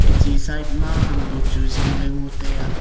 e chi side ma ham bu chu zing le ngo taiya.